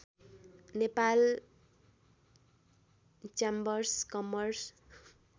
Nepal chambers commerce